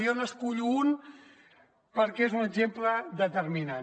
jo n’escullo un perquè és un exemple determinant